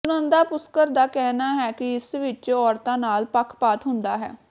ਸੁਨੰਦਾ ਪੁਸ਼ਕਰ ਦਾ ਕਹਿਣਾ ਹੈ ਕਿ ਇਸ ਵਿਚ ਔਰਤਾਂ ਨਾਲ ਪੱਖਪਾਤ ਹੁੰਦਾ ਹੈ